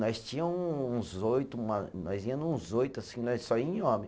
Nós tinha um uns oito, nós ia nuns oito, assim, nós só ia em homem.